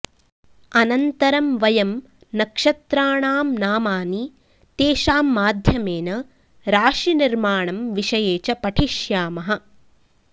अनन्तरं वयं नक्षत्राणां नामानि तेषां माध्यमेन राशि निर्माणं विषये च पठिष्यामः